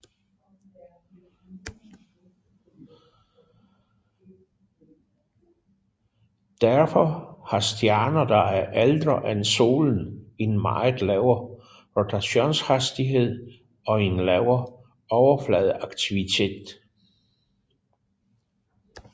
Derfor har stjerner der er ældre end Solen en meget lavere rotationshastighed og en lavere overfladeaktivitet